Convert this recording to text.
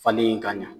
Falen ka ɲa